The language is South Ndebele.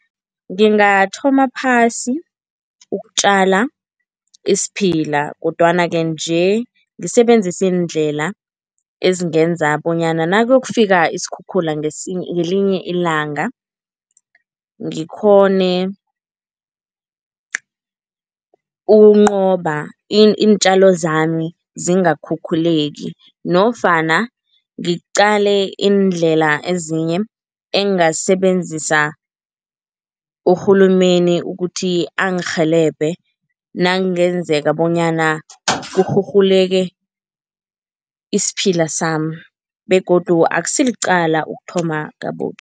Ngingathoma phasi ukutjala isiphila kodwana-ke nje ngisebenzise iindlela ezingenza bonyana nakuyokufika isikhukhula ngelinye ilanga ngikghone ukunqoba iintjalo zami zingakhukhuleki nofana ngiqale iindlela ezinye engasebenzisa uhulumeni ukuthi angirhelebhe nakungenzeka bonyana kurhurhuleke isiphila sami begodu akusilicala ukuthoma